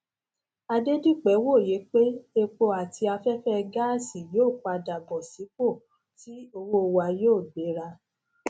adedipe wòye pé epo àti aféfé gáàsì yóò padà bó sípòtí owó wa yóò gbéra